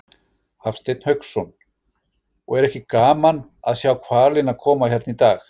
Hafsteinn Hauksson: Og er ekki gaman að sjá hvalina koma hérna í dag?